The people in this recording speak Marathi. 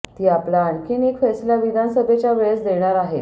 ती आपला आणखी एक फैसला विधानसभेच्या वेळेस देणार आहेच